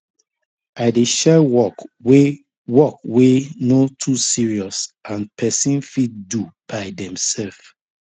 i dey share work wey work wey no too serious and pesin fit do by demsef